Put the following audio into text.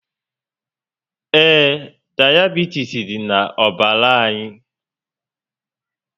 Ee, diabitis dị na ọbara anyi